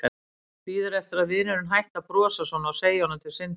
Bíður eftir að vinurinn hætti að brosa svona og segi honum til syndanna.